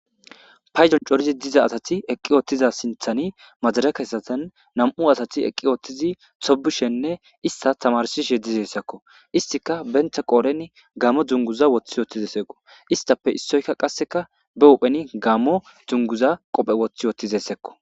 Payjon corizi diza asati eqqi oottiza sinthani majara kesatan nam7u asati eqqi oothtizi xobishenne ista tamarsishe dizessakko istika bentha qooren gaamo dzunguza woththi wotizeseqo istape issoyka qasseka be uphen gaamo dzunguza qophe woththi wottizessekko